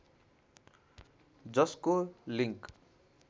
जसको लिङ्क